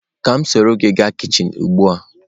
Ka m soro gi gaa kichin ugbua?